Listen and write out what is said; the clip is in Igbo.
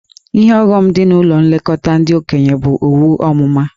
Ihe ọghọm dị na ụlọ nlekọta ndị okenye bụ owu ọmụma.